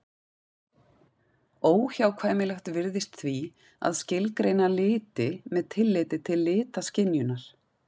Óhjákvæmilegt virðist því að skilgreina liti með tilliti til litaskynjunar.